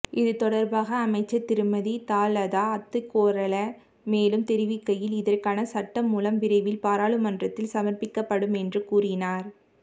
இது தொடர்பாக அமைச்சர் திருமதி தலதா அத்துக்கோரள மேலும் தெரிவிக்கையில் இதற்கான சட்டமூலம் விரைவில் பாராளுமன்றத்தில் சமர்ப்பிக்கப்படுமென்று கூறினார்